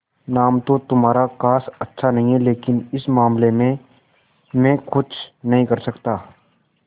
नाम तो तुम्हारा खास अच्छा नहीं है लेकिन इस मामले में मैं कुछ नहीं कर सकता